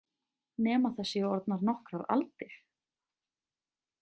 Nema það séu orðnar nokkrar aldir.